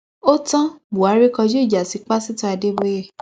ó tan buhari kójú ìjà sí pásítọ adéboye